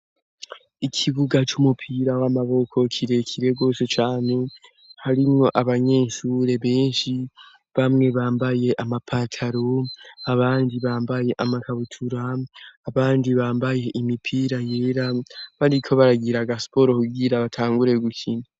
Ikibuga c'umupira w'amaboko kirekire rwose cane harimwo abanyenshure benshi bamwe bambaye amapataro abandi bambaye amakabutura abandi bambaye imipira yera bariko baragira agasporo kugira batangure gukina.